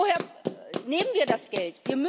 Und woher nehmen wir das Geld?